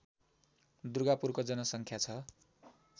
दुर्गापुरको जनसङ्ख्या छ